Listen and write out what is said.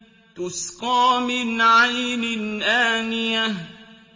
تُسْقَىٰ مِنْ عَيْنٍ آنِيَةٍ